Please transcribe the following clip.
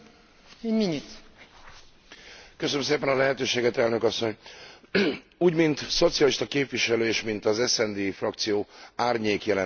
Úgy mint szocialista képviselő és mint az SD frakció árnyék jelentéstevője is, szavazatommal támogattam az éves versenypolitikai jelentés elfogadását.